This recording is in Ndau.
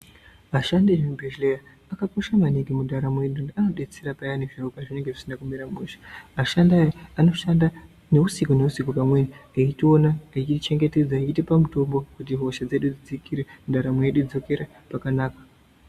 Ashandi vemuzvibhedhleya akakosha maningi mundaramo yedu ngekuti anodetsera payani zviro pazvinenge zvisina kumira mushe. Ashandi aya, anoshanda neusiku neusiku pamwe eitiona, eitichengetedza ,eitipa mutombo kuti hosha dzedu dzidzikire, ndaramo yedu idzokere pakanaka.